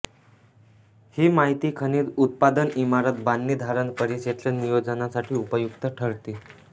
हि माहिती खनिज उत्पादनइमारत बांधणीधारण परिक्षेत्र नियोजनासाठी उपयुक्त ठरते